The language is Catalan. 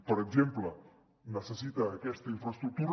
per exemple necessita aquesta infraestructura